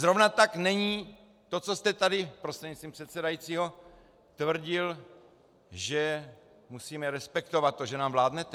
Zrovna tak není to, co jste tady prostřednictvím předsedajícího tvrdil, že musíme respektovat to, že nám vládnete.